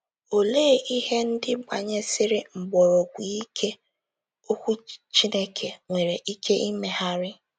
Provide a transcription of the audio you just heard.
Olee “ ihe ndị gbanyesiri mgbọrọgwụ ike ” Okwu Chineke nwere ike imegharị?